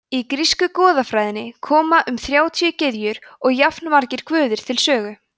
í grísku goðafræðinni koma um þrjátíu gyðjur og jafnmargir guðir við sögu